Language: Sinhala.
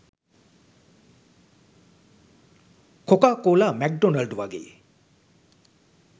කොකාකෝලා මැක්ඩොනල්ඞ් වගේ